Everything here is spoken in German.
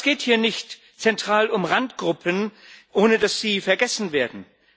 Aber es geht hier nicht zentral um Randgruppen, ohne dass sie vergessen werden.